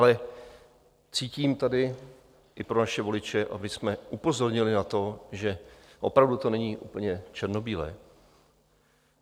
Ale cítím tady i pro naše voliče, abychom upozornili na to, že opravdu to není úplně černobílé.